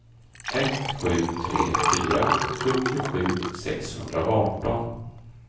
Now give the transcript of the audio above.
ett sju tre fyra sjuttiosju sexhundraarton